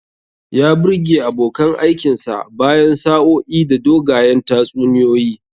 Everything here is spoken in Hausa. Ya birge abokan aikinsa bayan sa'o'i da dogayen tatsuniyoyi.